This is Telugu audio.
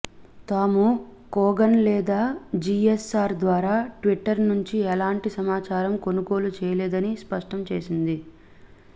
తాము కోగన్ లేదా జీఎస్ఆర్ ద్వారా ట్విట్టర్ నుంచి ఎలాంటి సమాచారం కొనుగోలు చేయలేదని స్పష్టం చేసింది